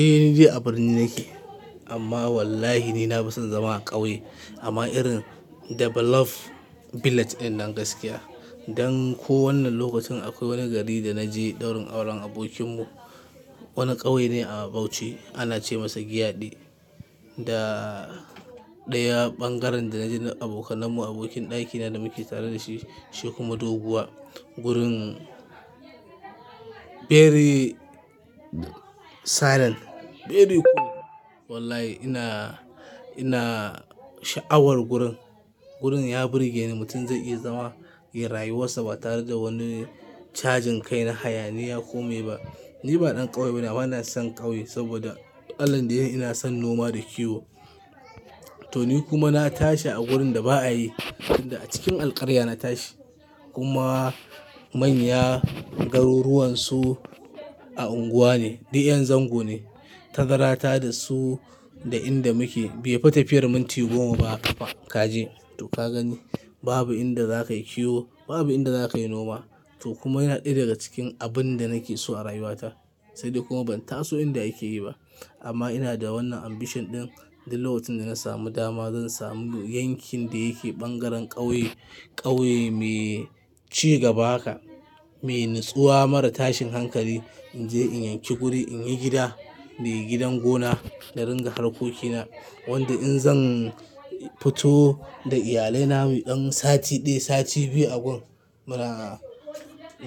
Eh ni dai a birni nake amma wallahi ni na fi son zama a ƙauye amma irin develop village ɗinnan gaskiya. Dan ko wannan lokacin akwai wani gari da na je daurin auren abokinmu, wani ƙauye ne a Bauchi ana ce masa Giade. Da ɗaya ɓangaren da na je na abokanan mu abokin ɗakina da muke tare da shi, shi kuma doguwa gurin very silent, very cool. Wallahi ina, ina sha'awar gurin. Gurin ya burge ni mutum zai iya zama, ya rayuwassa ba tare da wani cajin kai na hayaniya ko me ba. Ni ba ɗan ƙauye bane amma ina son ƙauye saboda allahn da ya yini ina son noma da kiwo. To ni kuma na tashi a gurin da ba a yi, tinda a cikin alƙarya na tashi kuma manya garuruwan su a unguwa ne duk 'yan zango ne. Tazara ta da su da inda muke bai fita fiyar minti goma ba a kafa kaje to ka gani. Babu inda za ka yi kiwo, babu inda za ka yi noma to kuma yana ɗaya daga cikin abin da nake so a rayuwa ta. Sai dai kuma ban taso inda ake yi ba. Amma ina da wannan ambition ɗin duk lokacin da na samu dama zan samu yankin da yake ɓangaren ƙauye, ƙauye mai ci gaba haka, mai nutsuwa mara tashin hankali in je in yanki guri in yi gida, muyi gidan gona na ringa harkokina. Wanda in zan fito da iyalai na muyi ɗan sati ɗaya, sati biyu a gun mu na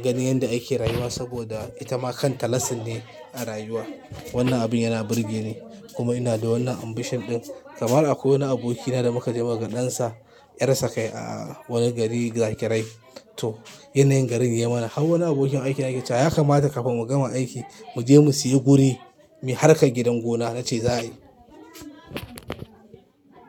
ganin yadda ake rayuwa saboda ita ma kanta lasin ne a rayuwa. Wannan abin yana burge ni kuma ina da wannan ambition ɗin. Kamar akwai wani aboki na da muka je muka ga ɗansa, ƴarsa kai a wani gari gakirai. To yanayin garin yai mana hau wani abokin aikina yake cewa ya kamata kafin mu gama aiki mu je mu sayi guri mi harkar gidan gona na ce za a yi.